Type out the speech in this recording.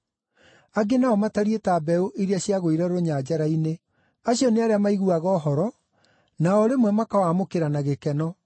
Angĩ nao matariĩ ta mbeũ iria ciagũire rũnyanjara-inĩ. Acio nĩ arĩa maiguaga ũhoro na o rĩmwe makawamũkĩra na gĩkeno.